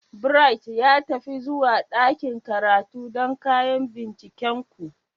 Bright, ya tafi zuwa ɗakin karatu don kayan bincikenku.